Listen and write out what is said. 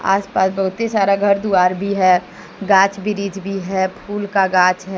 आसपास बहुत ही सारा घर द्वार भी है गाज ब्रिज भी है फूल का गाच है।